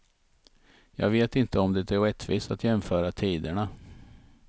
Jag vet inte om det är rättvist att jämföra tiderna.